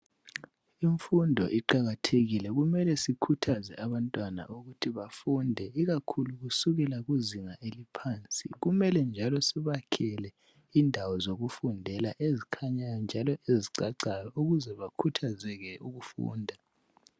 Imfundo iqakathekile. Kumele sikhuthaze abantwana ukuthi bafunde ikakhulu kusukela ezingeni eliphansi. Kumele njalo sibakhele indawo zokufunda ezikhanyayo njalo ezicacayo ukuze bakhuthazeke ukufunda.